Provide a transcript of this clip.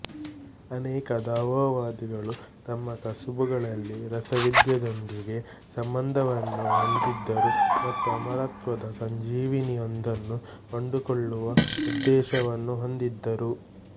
ಅನೇಕ ದಾವೋವಾದಿಗಳು ತಮ್ಮ ಕಸುಬುಗಳಲ್ಲಿ ರಸವಿದ್ಯೆಯೊಂದಿಗೆ ಸಂಬಂಧವನ್ನು ಹೊಂದಿದ್ದರು ಮತ್ತು ಅಮರತ್ವದ ಸಂಜೀವಿನಿಯೊಂದನ್ನು ಕಂಡುಕೊಳ್ಳುವ ಉದ್ದೇಶವನ್ನು ಹೊಂದಿದ್ದರು